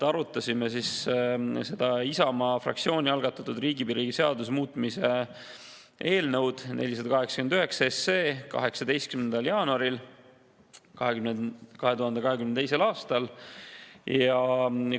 Arutasime seda Isamaa fraktsiooni algatatud riigipiiri seaduse muutmise eelnõu 489 oma istungil 18. jaanuaril 2022. aastal.